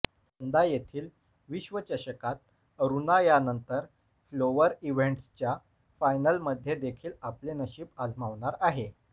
यंदा येथील विश्वचषकात अरुणा यानंतर फ्लोअर इव्हेंटच्या फायनलमध्ये देखील आपले नशीब आजमावणार आहे